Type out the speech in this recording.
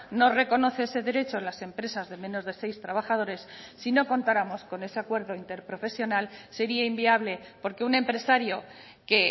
no reconoce ese derecho a las empresas de menos de seis trabajadores sino contáramos con ese acuerdo interprofesional sería inviable porque un empresario que